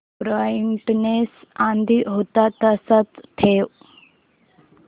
brightness आधी होता तसाच ठेव